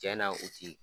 Cɛn na u ti